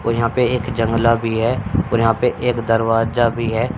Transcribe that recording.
और यहां पे एक जंगला भी है और यहां पे एक दरवाजा भी है।